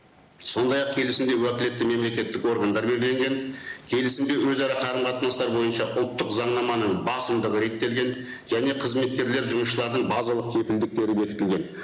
сондай ақ келісімде уәкілетті мемлекеттік органдары белгілеген келісімде өзара қарым қатынастар бойынша ұлттық заңнаманың басымдығы реттелген және қызметкерлер жұмысшылардың базалық кепілдіктері бекітілген